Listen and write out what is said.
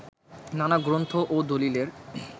নানা গ্রন্থ ও দলিলের